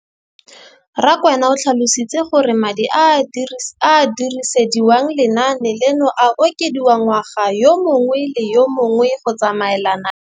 Rakwena o tlhalositse gore madi a a dirisediwang lenaane leno a okediwa ngwaga yo mongwe le yo mongwe go tsamaelana le